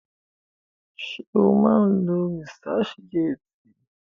Ṣé o má ń lo researchgate?